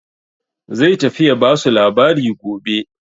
Zai tafi ya ba su labari gobe.